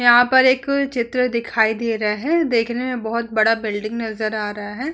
यहाँ पर एक चित्र दिखाई दे रहा है। देखने में बहुत बड़ा बिल्डिंग नजर आ रहा है।